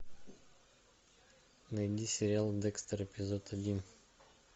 найди сериал декстер эпизод один